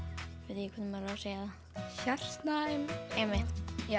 ég segi það hjartnæm já einmitt